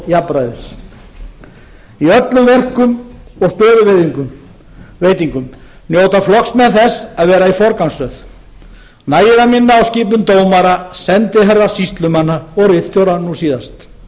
jafnræðis í öllum verkum og stöðuveitingum njóta flokksmenn þess að vera í forgangsröð nægir að minna á skipun dómara sendiherra sýslumanna og ritstjóra nú síðast ég vil